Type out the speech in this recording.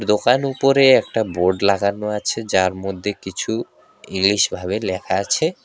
দোকান উপরে একটা বোর্ড লাগানো আছে যার মধ্যে কিছু ইংলিশ -ভাবে লেখা আছে।